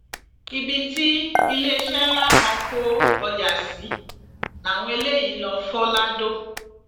ibi tí iléeṣẹ ńlá kan kó ọjà sí làwọn eléyìí lóò fọ lado